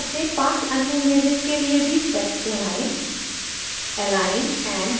उसी प्रकार से 5 अन्य images के लिए भी steps दोहराएं